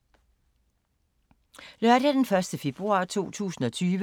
Lørdag d. 1. februar 2020